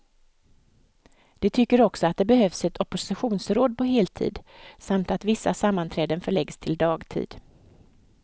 De tycker också att det behövs ett oppositionsråd på heltid, samt att vissa sammanträden förläggs till dagtid.